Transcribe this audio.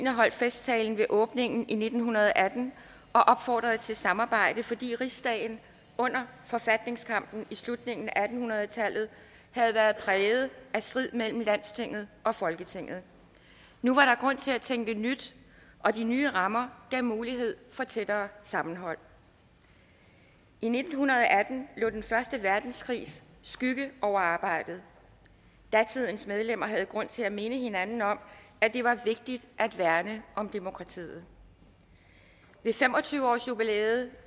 holdt festtalen ved åbningen i nitten atten og opfordrede til samarbejde fordi rigsdagen under forfatningskampen i slutningen af atten hundrede tallet havde været præget af strid mellem landstinget og folketinget nu var der grund til at tænke nyt og de nye rammer gav mulighed for et tættere sammenhold i nitten atten lå den første verdenskrigs skygge over arbejdet datidens medlemmer havde grund til at minde hinanden om at det var vigtigt at værne om demokratiet ved fem og tyve årsjubilæet